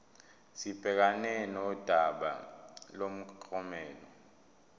sibhekane nodaba lomklomelo